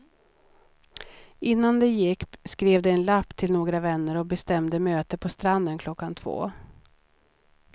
Innan de gick skrev de en lapp till några vänner och bestämde möte på stranden klockan två.